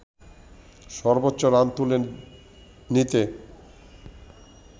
সর্বোচ্চ রান তুলে নিতে